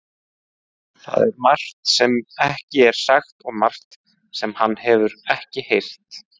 Það er margt sem ekki er sagt og margt sem hann hefur ekki heyrt.